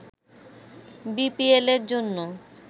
বিপিএলের জন্য